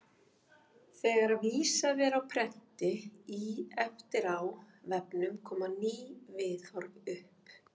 Þegar vísað er á prenti í efni á vefnum koma ný viðhorf upp.